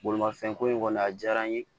Bolimafɛn ko in kɔni a diyara n ye